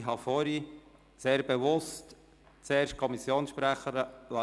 Ich habe vorhin sehr bewusst zuerst die Kommissionssprecherin reden lassen.